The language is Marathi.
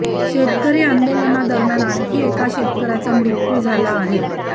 शेतकरी आंदोलनादरम्यान आणखी एका शेतकऱ्याचा मृत्यू झाला आहे